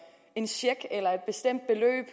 en check eller et bestemt beløb